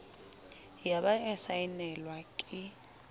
ya ba ya saenelwa ke